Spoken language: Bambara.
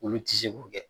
Olu ti se k'o kɛ